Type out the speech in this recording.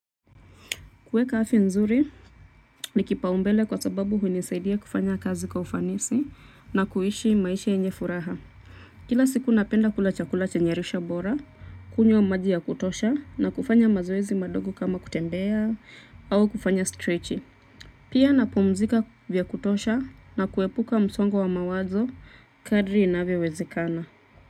Kuweka afya nzuri ni kipaumbele kwa sababu hunisaidia kufanya kazi kwa ufanisi na kuishi maisha yenye furaha kila siku napenda kula chakula chenye lishe bora, kunywa maji ya kutosha na kufanya mazoezi madogo kama kutembea au kufanya strechi. Pia napumzika vya kutosha na kuepuka msongo wa mawazo kadri inavyo wezekana.